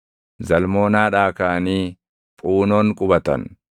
Zalmoonaadhaa kaʼanii Phuunon qubatan.